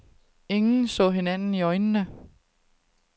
Ingen så hinanden i øjnene.